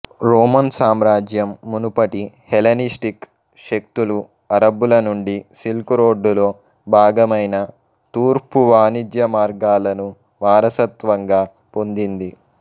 Roman సామ్రాజ్యం మునుపటి Hellenistic శక్తులు అరబ్బుల నుండి సిల్క్ రోడ్డులో భాగమైన తూర్పు వాణిజ్య మార్గాలను వారసత్వంగా పొందింది